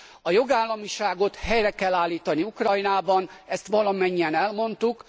A jogállamiságot helyre kell állítani Ukrajnában, ezt valamennyien elmondtuk.